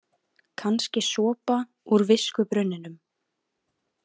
Kannski sopa úr viskubrunninum?